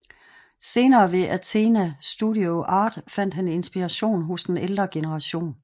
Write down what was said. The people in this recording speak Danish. Senere ved Athénée Studio Art fandt han inspiration hos den ældre generation